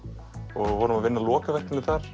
og vorum að vinna lokaverkefni þar